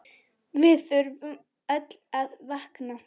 Við þurfum öll að vakna!